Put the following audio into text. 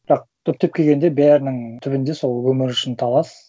бірақ түптеп келгенде бәрінің түбінде сол өмір үшін талас